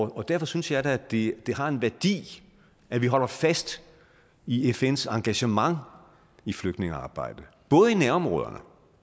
derfor synes jeg da at det har en værdi at vi holder fast i fns engagement i flygtningearbejdet både i nærområderne